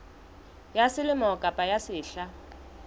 ya selemo kapa ya sehla